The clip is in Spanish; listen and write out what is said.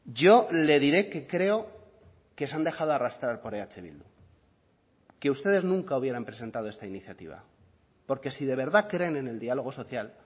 yo le diré que creo que se han dejado arrastrar por eh bildu que ustedes nunca hubieran presentado esta iniciativa porque si de verdad creen en el diálogo social